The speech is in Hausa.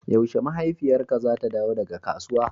yaushe mahaifiyarka zata dawo daga kasuwa?